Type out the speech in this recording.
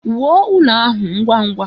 Wuo ụlọ ahụ ngwa ngwa!